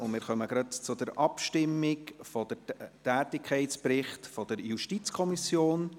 Wir kommen zur Abstimmung über den Tätigkeitsbericht der JuKo.